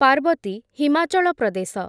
Parvati , Himachal Pradesh